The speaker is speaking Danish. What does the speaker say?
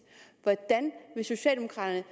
hvordan vil socialdemokraterne